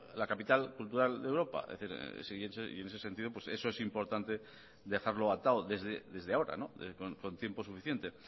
la capital cultural de europa es decir y en ese sentido eso es importante dejarlo atado desde ahora con tiempo suficiente